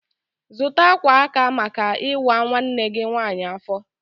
Zụta akwa aka maka ịwa nwanne gị nwanyị afọ!